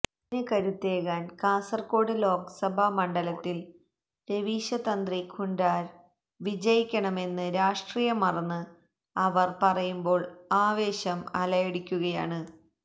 അതിന് കരുത്തേകാന് കാസര്കോട് ലോകസഭ മണ്ഡലത്തില് രവീശ തന്ത്രി കുണ്ടാര് വിജയിക്കണമെന്ന് രാഷ്ട്രീയം മറന്ന് അവര് പറയുമ്പോള് ആവേശം അലയടിക്കുകയാണ്